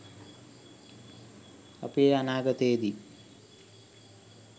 අපි එය අනාගතයේ දී